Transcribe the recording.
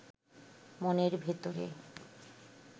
মনের ভেতরে